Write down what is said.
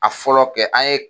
A fɔlɔ kɛ an ye